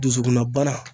Dusukunna bana